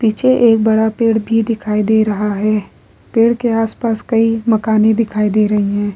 पीछे एक बड़ा पेड़ भी दिखाई दे रहा है पेड़ के आस-पास कई मकाने दिखाई दे रही है ।